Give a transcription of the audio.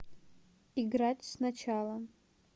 играть сначала